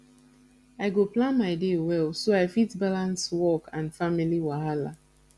i go plan my day well so i fit balance work and family wahala